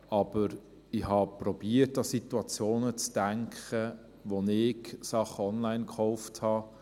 Aber ich habe versucht, an Situationen zu denken, wo ich Dinge online gekauft habe.